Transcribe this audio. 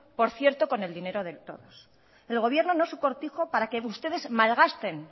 por cierto con el dinero de todos el gobierno no es su cortijo para que ustedes malgasten